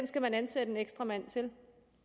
skal ansætte en ekstra mand til